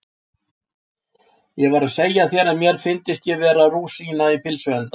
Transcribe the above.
Ég var að segja þér að mér fyndist ég vera eins og rúsína í pylsuenda